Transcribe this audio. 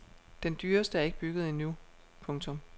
Den dyreste er ikke bygget endnu. punktum